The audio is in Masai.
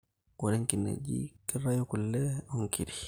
Ore nkinejik kitayu kule onkirik